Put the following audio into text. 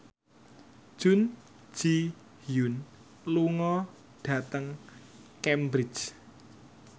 Jun Ji Hyun lunga dhateng Cambridge